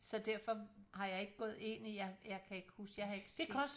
Så derfor har jeg ikke gået ind i jeg jeg kan ikke huske jeg har ikke set